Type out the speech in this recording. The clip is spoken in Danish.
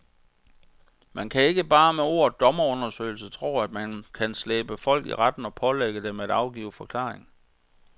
Man kan ikke bare med ordet dommerundersøgelse tro, at man så kan slæbe folk i retten og pålægge dem at afgive forklaring.